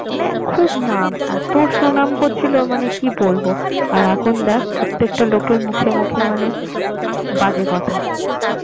মানে খুব নাম এত সুনাম করছিল মানে কি বলবো আর এখন দেখ প্রত্যেকটা লোকের মুখে মুখে মানে বাজে কথা